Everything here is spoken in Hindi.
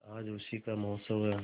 आज उसी का महोत्सव है